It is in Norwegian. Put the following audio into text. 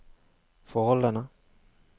forholdene